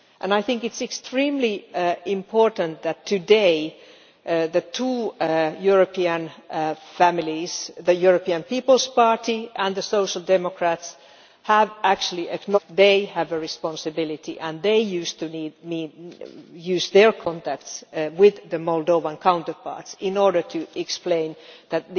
I think it is extremely important that today, the two European families the European People's Party and the Social Democrats have acknowledged that they have a responsibility and that they need to use their contacts with their Moldovan counterparts in order to explain that